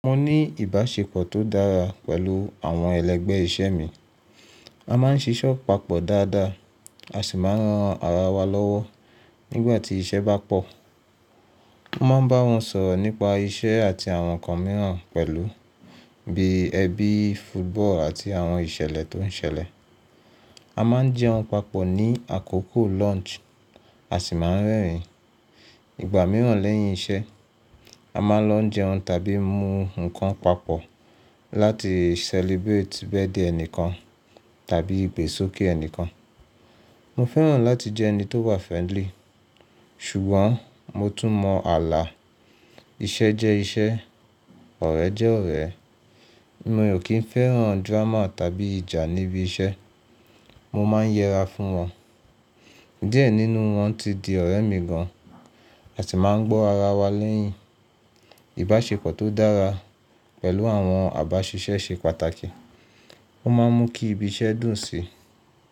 Mo ní ìbáṣepọ̀ tó dára pẹ̀lú àwọn ẹlẹgbẹ́ iṣẹ́ mi. A máa ń ṣíṣe papọ̀ dáadáa, a sì máa ń ran ara wa lọ́wọ́ nígbà tí iṣẹ́ bá pọ̀. Mo máa ń bá wọn sọ̀rọ̀ nípa iṣẹ́ àti àwọn nǹkan mìíràn pẹ̀lú bíi ẹbí, football àti àwọn ìṣẹ̀lẹ̀ tó ń ṣẹlẹ̀. A máa ń jẹun papọ̀ ní àkókò lunch, a sì máa ń rẹ́rìn-ín. Ìgbà mìíràn lẹ́yìn iṣẹ́, a máa ń lọ jẹun tàbí mú nǹkan papọ̀ láti celebrate birthday ẹnìkan tàbí ìgbésókè ẹnìkan. Mo fẹ́ràn láti jẹ́ ẹni tó wà friendly, ṣùgbọ́n mo tún mọ ààlà. Iṣẹ́ jẹ́ iṣẹ́, ọ̀rẹ́ jẹ́ ọ̀rẹ́. Mi ò kí ń fẹ́ràn drama tàbí ìjà níbi iṣẹ́. Mo máa ń yẹra fún wọn. Díẹ̀ nínú wọn ti di ọ̀rẹ́ mi gan-an a sì máa ń gbọ́ ara wa lẹ́yìn. Ìbáṣepọ̀ tó dára pẹ̀lú àwọn àbáṣiṣẹ́ ṣe pàtàkì. Ó máa ń mú kí ibi iṣẹ́ dùn sí i.